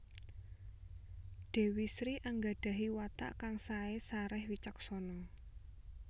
Dewi Sri anggadahi watak kang sae sareh wicaksana